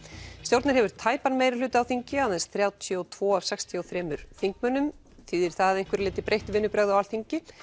stjórnin hefur tæpan meirihluta á þingi aðeins þrjátíu og tveggja af sextíu og þremur þingmönnum þýðir það að einhverju leyti breytt vinnubrögð á Alþingi